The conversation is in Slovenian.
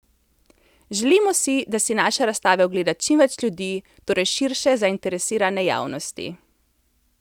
Želimo si, da si naše razstave ogleda čim več ljudi, torej širše zainteresirane javnosti.